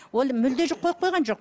ол мүлде қойып қойған жоқ